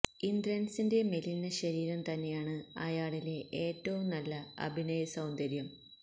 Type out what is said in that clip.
ഇന്ദ്രന്സിന്റെ മെലിഞ്ഞ ശരീരം തന്നെയാണ് അയാളിലെ ഏറ്റവും നല്ല അഭിനയ സൌന്ദര്യം